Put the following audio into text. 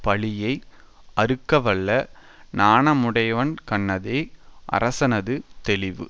பழியை அறுக்கவல்ல நாணமுடையவன்கண்ணதே அரசனது தெளிவு